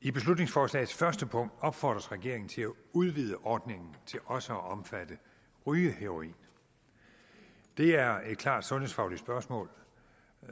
i beslutningsforslagets første punkt opfordres regeringen til at udvide ordningen til også at omfatte rygeheroin det er et klart sundhedsfagligt spørgsmål